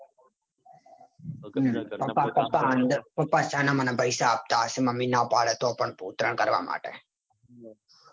પપા છાના માના પૈસા આપતા હશે. મમ્મી ના પાડે તોપણ ઉત્તરાયણ કરવા માટે.